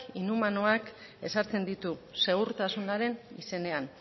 inhumanoak ezartzen ditu segurtasunaren izenean